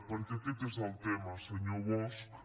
perquè aquest és el tema senyor bosch